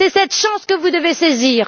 C'est cette chance que vous devez saisir.